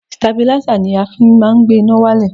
Stabilísà ni a fi má ń gbé iná wálẹ̀.